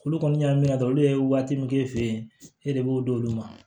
Olu kɔni y'a minɛ dɔrɔn olu ye waati min k'e fɛ yen e de b'o d'olu ma